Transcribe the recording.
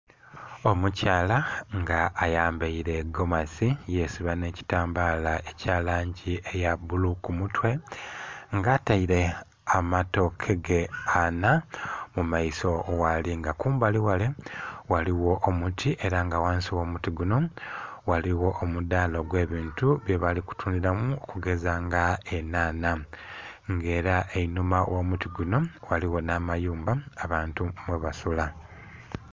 Omukyala nga ayambaile egomasi yesiba n'ekitambala ekya langi eya bbulu ku mutwe, nga ataile amatooke ge anha mu maiso ghaali, nga kumbali ghale ghaliwo omuti era nga ghansi gh'omuti guno ghaliwo omudaala gwe bintu byebali kutundhamu okugeza nga enhanha nga era einhuma gh'omuti guno ghaliwo n'amayumba abantu mwebasula